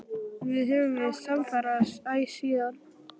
Við höfum verið samferða æ síðan.